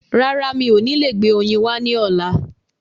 Rárá, mi ò ní lè gbé oyin wá ní ọ̀la.